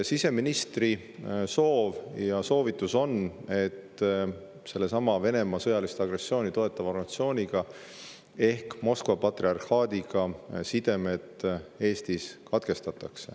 Siseministri soov ja soovitus on, et sellesama Venemaa sõjalist agressiooni toetava organisatsiooniga ehk Moskva patriarhaadiga Eestis sidemed katkestataks.